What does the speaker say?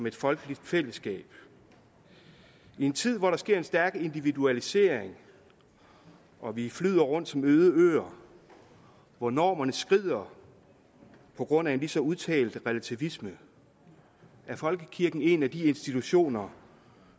et folkeligt fællesskab i en tid hvor der sker en stærk individualisering og vi flyder rundt som øde øer hvor normerne skrider på grund af en lige så udtalt relativisme er folkekirken en af de institutioner